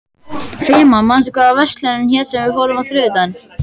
Fema, manstu hvað verslunin hét sem við fórum í á þriðjudaginn?